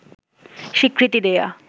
স্বীকৃতি দেয়া